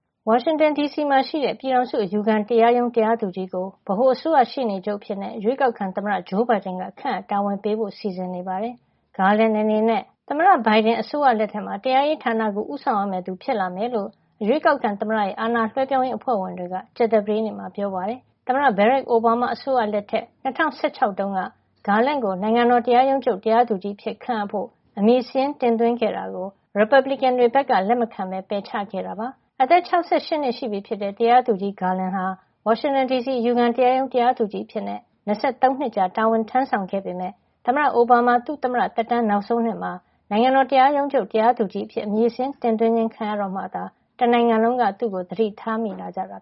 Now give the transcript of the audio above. ဝါရင်တန် ဒီစီမှာရှိတဲ့ ပြည်ထောင်စု အယူခံတရားရုံး တရားသူကြီး ကို ဗဟိုအစိုးရ ရှေ့နေချုပ်အဖြစ် ရွေးကောက်ခံသမ္မတ Joe Biden က ခန့်အပ် တာဝန်ပေးဖို့ စီစဉ်နေပါတယ်။ Graland အနေနဲ့ သမ္မတ Biden အစိုးရလက်ထက်မှာ တရားရေးဌာနကို ဦးဆောင်ရမယ့်သူ ဖြစ်လာမယ်လို့ ရွေးကောက်ခံသမ္မတရဲ့ အာဏာလွဲပြောင်းရေးအဖွဲ့ဝင်တွေက ကြာသပတေးနေ့မှာ ပြောပါတယ်။ သမ္မတ Barack Obama အစိုးရလက်ထက် ၂၀၁၆ ခုနှစ်တုန်းက Garland ကို နိုင်ငံတော်တရားရုံးချုပ် တရားသူကြီးအဖြစ် ခန့်အပ်ဖို့ အမည်စာရင်းတင်သွင်းခဲ့တာကို ရီပတ်ဘလီကန်တွေက လက်မခံ ပယ်ချခဲ့ပါတယ်။ အသက် ၆၈ နှစ်ရှိပြီဖြစ်တဲ့ တရားသူကြီး Garland ဟာ ဝါရှင်တန် ဒီစီက အယူခံတရားရုံး တရားသူကြီးအဖြစ် ၂၃ နှစ်ကြာ တာဝန်ထမ်းဆောင်ခဲ့ပေမယ့်လည်း သမ္မတ အိုဘားမားက သူ့သမ္မတသက်တမ်း နောက်ဆုံးနှစ်မှာ နိုင်ငံတော် တရားရုံးချုပ် တရားသကြီးအဖြစ် အမည်စာရင်း တင်သွင်းခြင်းခံရတော့မှသာ တနိုင်ငံလုံးက သူ့အပေါ် သတိထားမိလာကြတာ